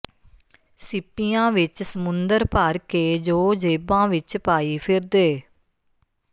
ਸਿੱਪੀਆਂ ਵਿੱਚ ਸਮੁੰਦਰ ਭਰ ਕੇ ਜੋ ਜੇਬਾਂ ਵਿੱਚ ਪਾਈ ਫਿਰਦੇ